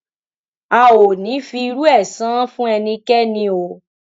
a ò ní í fi irú ẹ san án fún ẹnikẹni o